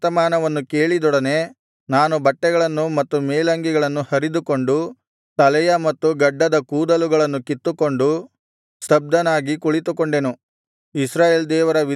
ಈ ವರ್ತಮಾನವನ್ನು ಕೇಳಿದೊಡನೆ ನಾನು ಬಟ್ಟೆಗಳನ್ನು ಮತ್ತು ಮೇಲಂಗಿಗಳನ್ನು ಹರಿದುಕೊಂಡು ತಲೆಯ ಮತ್ತು ಗಡ್ಡದ ಕೂದಲುಗಳನ್ನು ಕಿತ್ತುಕೊಂಡು ಸ್ತಬ್ಧನಾಗಿ ಕುಳಿತುಕೊಂಡೆನು